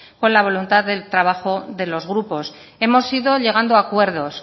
con la voluntad del trabajo de los grupos hemos ido llegando a acuerdos